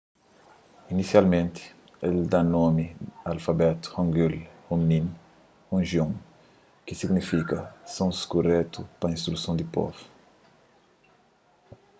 inisialmenti el da nomi a alfabetu hangeul hunmin jeongeum ki signifika sons kuretu pa instruson di povu